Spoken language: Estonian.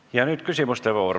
Ja nüüd küsimuste voor.